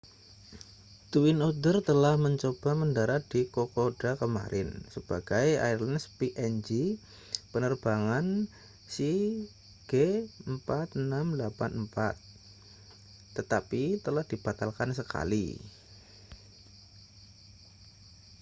twin otter telah mencoba mendarat di kokoda kemarin sebagai airlines png penerbangan cg4684 tetapi telah dibatalkan sekali